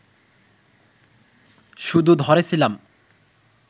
শুধু ধরে ছিলাম